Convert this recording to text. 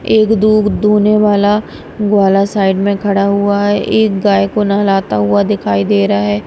एक दूध दुहने वाला वाला साइड में खड़ा हुआ है एक गाय को नहलाता हुआ दिखाई दे रहा है।